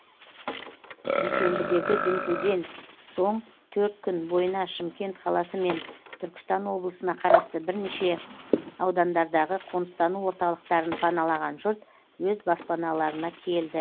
дүйсенбідегі дүмпуден соң төрт күн бойына шымкент қаласы мен түркістан облысына қарасты бірінеше аудандардағы қоныстану орталықтарын паналаған жұрт өз баспаналарына келді